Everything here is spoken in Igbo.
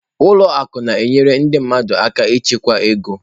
Ụlọ akụ na-enyere ndị mmadụ aka ịchekwa ego.